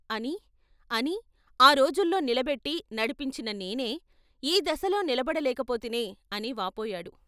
అని అని ఆ రోజుల్లో నిలబెట్టి నడిపించిన నేనే, ఈ దశలో నిలబడ లేకపోతినే అని వాపోయాడు.